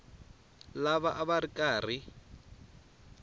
lava a va ri karhi